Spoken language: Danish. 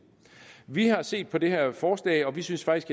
vi har set på det her forslag og vi synes faktisk